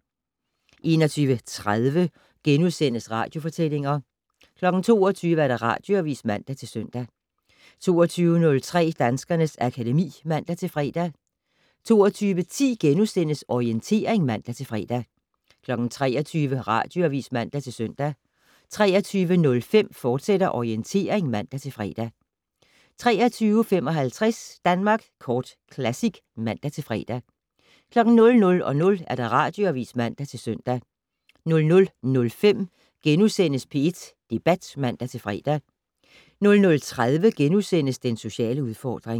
21:30: Radiofortællinger * 22:00: Radioavis (man-søn) 22:03: Danskernes akademi (man-fre) 22:10: Orientering *(man-fre) 23:00: Radioavis (man-søn) 23:05: Orientering, fortsat (man-fre) 23:55: Danmark Kort Classic (man-fre) 00:00: Radioavis (man-søn) 00:05: P1 Debat *(man-fre) 00:30: Den sociale udfordring *